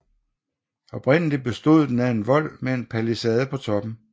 Oprindeligt bestod den af en vold med en palisade på toppen